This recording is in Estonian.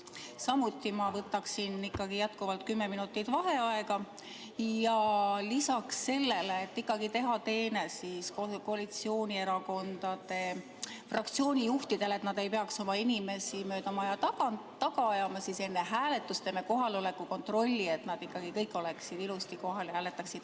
Samuti võtaksin ma jätkuvalt kümme minutit vaheaega ja lisaks sellele soovin, et teha teene koalitsioonierakondade fraktsioonijuhtidele, et nad ei peaks oma inimesi mööda maja taga ajama, enne hääletust teha ka kohaloleku kontrolli, et kõik oleksid ilusasti kohal ja hääletaksid.